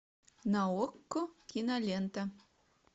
на окко кинолента